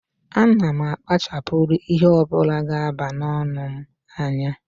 A na m akpachapuru ihe ọ bụla ga aba n'ọnụ m anya